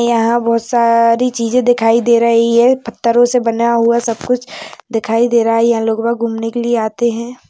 यहा बहुत सारी छीजे दिखाई दे रही है। पत्थरों से बना हुआ सब कुछ दिखाई दे रहा है यहा लोग गुमने के लिए आते है।